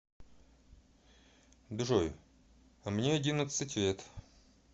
джой а мне одиннадцать лет